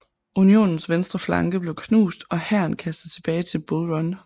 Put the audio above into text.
Unionens venstre flanke blev knust og hæren kastet tilbage til Bull Run